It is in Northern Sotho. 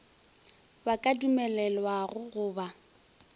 ba ka dumelelwago go ba